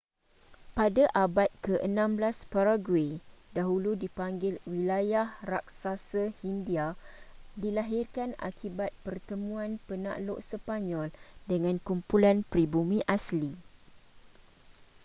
pada abad ke-16 paraguay dahulu dipanggil wilayah raksasa hindia dilahirkan akibat pertemuan penakluk sepanyol dengan kumpulan pribumi asli